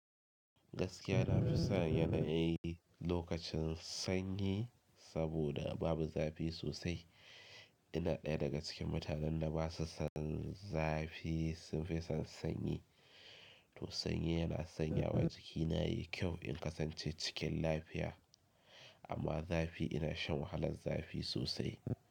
Gaskiya na fi son yanayin lokacin sanyi saboda babu zafi sosai. Ina ɗaya daga cikin mutanen da basu son zafi, sun fi son sanyi. To sanyi yana sanyawa jikina, yi kyau in kasance cikin lafiya, amma zafi ina shan wahalar zafi sosai.